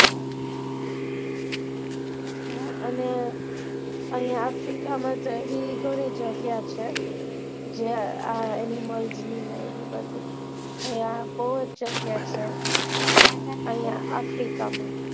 અને અહિયાં africa માં તો એવી ઘણી જગ્યા છે animals ની ને એવી બધી અહિયાં બઉ જ જગ્યા છે ત્યાં કઈ africa માં